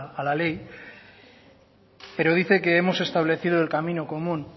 a la ley pero dice que hemos establecido el camino común